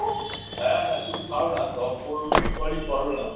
হ্যাঁ হ্যাঁ তুমি না, দশ পনেরো মিনিট পরেই করো না।